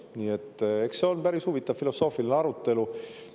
Nii et eks see on päris huvitav filosoofiline arutelu.